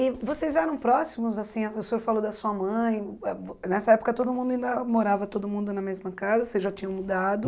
E vocês eram próximos, assim, a o senhor falou da sua mãe, ah nessa época todo mundo ainda morava todo mundo na mesma casa, vocês já tinham mudado?